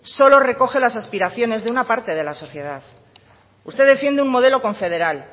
solo recoge las aspiraciones de una parte de la sociedad usted defiende un modelo confederal